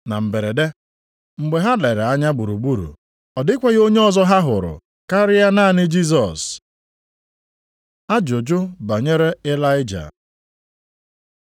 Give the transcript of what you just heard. Na mberede, mgbe ha lere anya gburugburu, ọ dịkwaghị onye ọzọ ha hụrụ, karịa naanị Jisọs. Ajụjụ banyere Ịlaịja